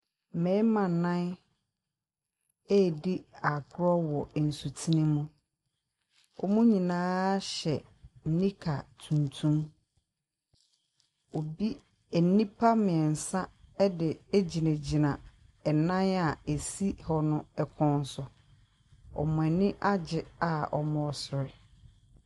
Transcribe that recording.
Mmarima nan edi agorɔ wɔ nsu tene mu ɔmu nyinaa hyɛ nika tuntum nipa mmiɛnsa ɛdi gyina gyna ɛnan si ho kɔn so ɔmu anigyeɛ ɔmu sere.